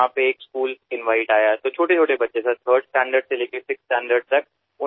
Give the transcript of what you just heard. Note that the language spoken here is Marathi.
तेथे एका शाळेचे आमंत्रण आले तेव्हा अगदी लहान लहान मुले सर इयत्ता तिसरीपासून सहावी पर्यंतची मुले